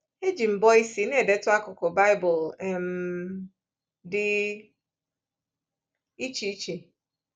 Eji m mbọ isi na-edetu akụkụ Baịbụl um dị iche iche.